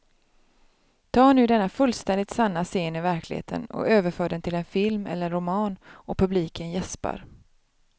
Ta nu denna fullständigt sanna scen ur verkligheten och överför den till en film eller en roman och publiken jäspar.